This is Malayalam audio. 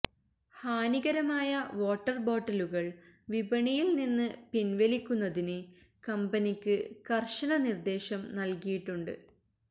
ഹാനികരമായ വാട്ടർ ബോട്ടിലുകൾ വിപണിയിൽ നിന്ന് പിൻവലിക്കുന്നതിന് കമ്പനിക്ക് കർശന നിർദേശം നൽകിയിട്ടുണ്ട്